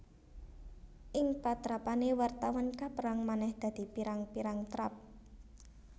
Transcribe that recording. Ing patrapané wartawan kapérang manèh dadi pirang pirang trap